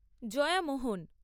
Jaya Mohan